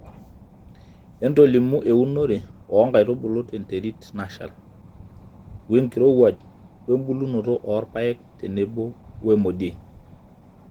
otolimu eunore oo nkaitubulu te nterit nashal ,wenkirowuaj we bulunoto orpaek tenebo wemodiei